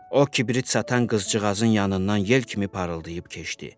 O kibrit satan qızcığazın yanından yel kimi parıldayıb keçdi.